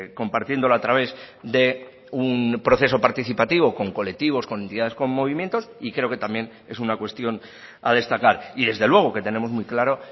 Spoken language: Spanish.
compartiéndolo a través de un proceso participativo con colectivos con entidades con movimientos y creo que también es una cuestión a destacar y desde luego que tenemos muy claro